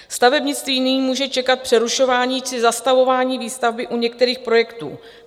Stavebnictví nyní může čekat přerušování či zastavování výstavby u některých projektů.